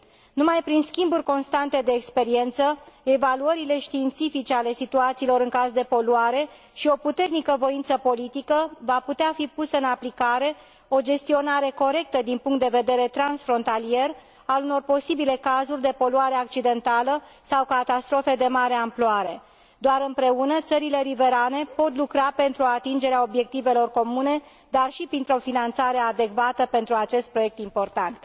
Numai prin schimburi constante de experiență, evaluările științifice ale situațiilor în caz de poluare și o puternică voință politică, va putea fi pusă în aplicare o gestionare corectă din punct de vedere transfrontalier al unor posibile cazuri de poluare accidentală sau catastrofe de mare amploare. Doar împreună, țările riverane pot lucra pentru atingerea obiectivelor comune, dar și printr o finanțare adecvată pentru acest proiect important.